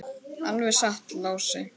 Alveg satt, Lási.